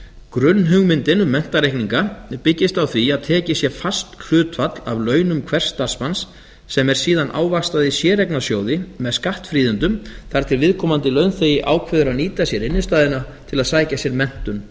grunnhugmyndin um menntareikninga byggist á því að tekið sé fast hlutfall af launum hvers starfsmanns sem er síðan ávaxtað í séreignasjóði með skattfríðindum þar til viðkomandi launþegi ákveður að nýta sér innstæðuna til að sækja sér menntun eða